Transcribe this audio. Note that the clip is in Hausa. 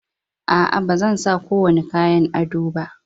A, a ba zansa ko wani kayan ado ba.